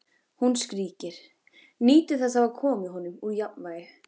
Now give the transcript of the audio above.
Hún skríkir, nýtur þess að hafa komið honum úr jafnvægi.